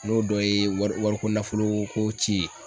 N'o dɔ ye wari wari ko nafoloo ko ci ye.